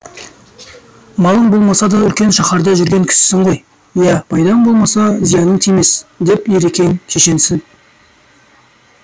малың болмаса да үлкен шәһәрда жүрген кісісің ғой иә пайдаң болмаса зияның тимес деп ерекең шешенсіп